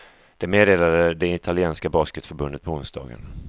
Det meddelade det italienska basketförbundet på onsdagen.